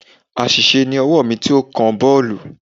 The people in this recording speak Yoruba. Àṣìṣe ni ọwọ́ mi tí ó kan boolu.